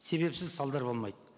себепсіз салдар болмайды